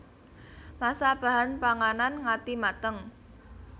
Masak bahan panganan ngati mateng